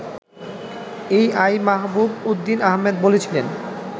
এ I Mahbub Uddin Ahmed বলছিলেন